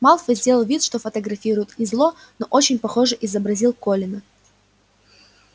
малфой сделал вид что фотографирует и зло но очень похоже изобразил колина